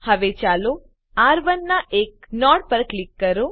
હવે ચાલો આર1 ના એક નોડ પર ક્લિક કરીએ